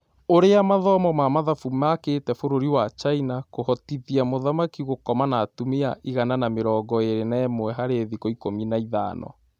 Ũrĩa mathomo ma mathabu makĩte bũrũri wa China kũhotithia mũthaki 'gũkoma' na atumia igana na mĩrongo ĩrĩ na ĩmwe harĩ thikũ ikũmi na ithano